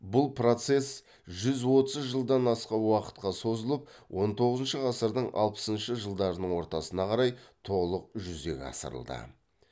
бұл процесс жүз отыз жылдан аса уақытқа созылып он тоғызыншы ғасырдың алпысыншы жылдарының ортасына қарай толық жүзеге асырылды